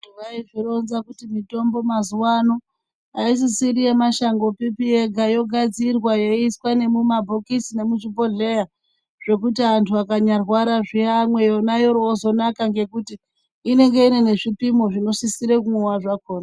Mitombo mazuvano haisisiri yemashango pipi yega yogadzirwa yoiswa nemumabhokisi nemuzvibhodhlera zvekuti vantu vakarwara vamwe vanozinaka ngekuti inenge inezvipimo zvinosisire kunwa zvakona.